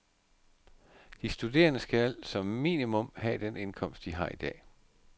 De studerende skal som minimum have den indkomst, de har i dag.